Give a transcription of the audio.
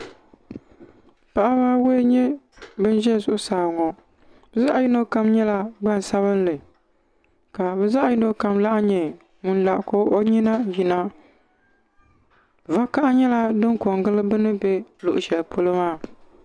Paɣaba ayɔi n nyɛ ban za zuɣusaa ŋɔ bɛ zaɣa yino kam nyɛla gbansabinli ka bɛ zaɣa yino kam laha nyɛ ŋun lara ka o nyina yina vakaha nyɛla din piɛngili bini be luɣushɛli polo maa.